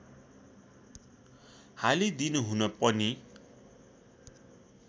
हालिदिनुहुन पनि